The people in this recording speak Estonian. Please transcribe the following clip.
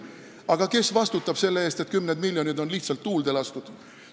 Aga kes vastutab selle eest, et kümned miljonid on lihtsalt tuulde lastud?